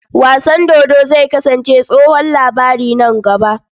Wasan dodo zai kasance tsohon labari nan gaba.